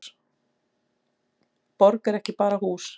Borg er ekki bara hús.